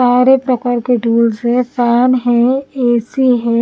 सारे एक प्रकार के टूल्स है फैन है ए_सी हैं।